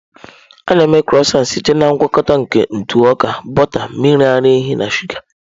A na-eme Crọisantị site na ngwakọta nke ntụ ọka, bọta, mmiri ara ehi na shụga.